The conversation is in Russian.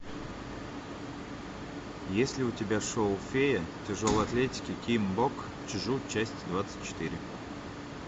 есть ли у тебя шоу фея тяжелой атлетики ким бок чжу часть двадцать четыре